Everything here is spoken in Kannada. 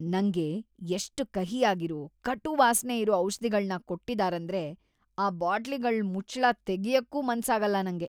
ನಂಗೆ ಎಷ್ಟ್ ಕಹಿಯಾಗಿರೋ, ಕಟು ವಾಸ್ನೆ ಇರೋ ಔಷಧಿಗಳ್ನ ಕೊಟ್ಟಿದಾರೇಂದ್ರೆ ಆ ಬಾಟ್ಲಿಗಳ್ ಮುಚ್ಚುಳ ತೆಗ್ಯಕ್ಕೂ ಮನ್ಸಾಗಲ್ಲ ನಂಗೆ.